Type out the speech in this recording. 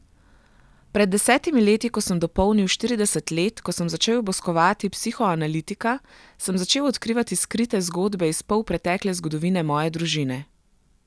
Pred desetimi leti, ko sem dopolnil štirideset let, ko sem začel obiskovati psihoanalitika, sem začel odkrivati skrite zgodbe iz polpretekle zgodovine moje družine.